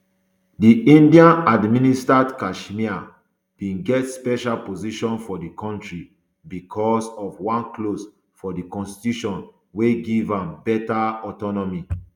di indian administered kashmir bin get special position for di kontri bicos of one clause for di constitution wey give am beta autonomy